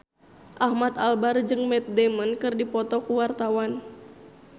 Ahmad Albar jeung Matt Damon keur dipoto ku wartawan